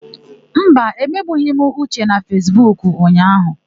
Mba, emegbughị m Uche na Fesbuku ụnyaahụ.